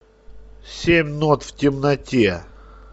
семь нот в темноте